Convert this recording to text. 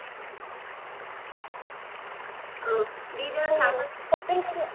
ଅ ଦି ଜଣ ସାଙ୍ଗ ହେଇକି shopping କରିବା